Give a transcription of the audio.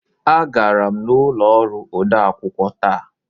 Agara m n'ụlọ ọrụ odeakwụkwọ taa.